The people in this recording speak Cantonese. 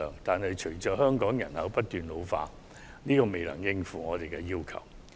但是，隨着香港人口不斷老化，這仍未能應付我們的需求。